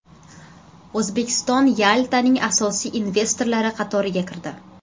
O‘zbekiston Yaltaning asosiy investorlari qatoriga kirdi.